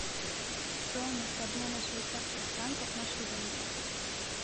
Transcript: стоимость обмена швейцарских франков на шиллинги